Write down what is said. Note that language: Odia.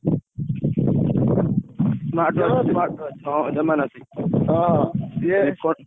ଅଛି।